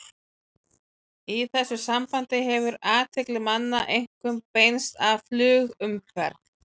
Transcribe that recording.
Í þessu sambandi hefur athygli manna einkum beinst að flugumferð.